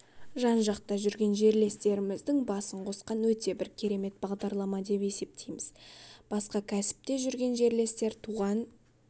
жан-жақта жүрген жерлестеріміздің басын қосқан өте бір керемет бағдарлама деп есептейміз басқа кәсіпте жүрген жерлестер туған